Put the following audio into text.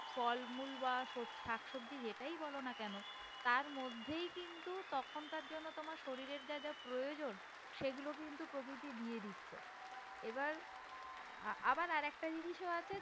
ফলমূল বা শাকসবজি যেটাই বলো না কেন তার মধ্যে কিন্তু তখন কার জন্য তোমার শরীরে যা যা প্রয়োজন সেগুলো কিন্তু প্রকৃতি দিয়ে দিচ্ছে। এবার আবার আরেকটা জিনিসও আছে